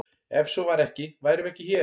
Ef svo væri ekki værum við ekki hér!